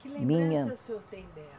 Que lembrança o senhor tem dela?